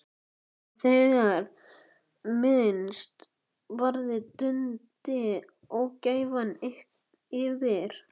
En þegar minnst varði dundi ógæfan yfir.